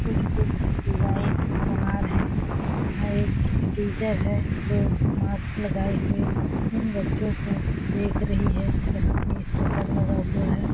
कुछ- कुछ डिजाइन बना रहे है यहाँ एक टीचर है जो मास्क लगाए हुए इन बच्चों को देख रही है यहाँ पे शटर लगा हुआ है।